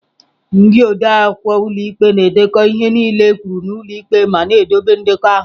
Ndị odeakwụkwọ ụlọ ikpe na-edekọ ihe niile ekwuru n'ụlọ ikpe ma na-edobe ndekọ ahụ.